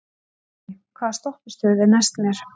Uni, hvaða stoppistöð er næst mér?